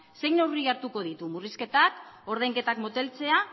zein neurri hartuko ditu murrizketak ordainketak moteltzea